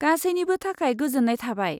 गासैनिबो थाखाय गोजोन्नाय थाबाय।